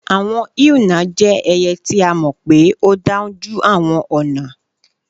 Àwọn èúnà jẹ́ ẹyẹ ti a mọ́ pé ó dáúnjú awọn ọ̀nà.